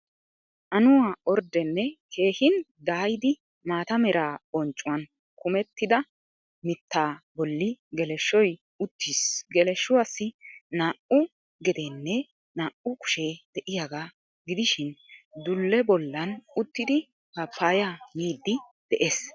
Annuwaa orddenne keehin daayidi maata meera bonccuwaan kaamettida mita boolli geleeshshoy uttiis geleeshshuwaasi naa^u gedeenne naa^u kushshe de^iyaaga giddishshin dulle bollaani uttidi papaya middi de^ees